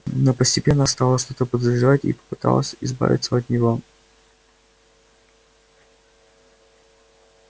но постепенно она стала что-то подозревать и попыталась избавиться от него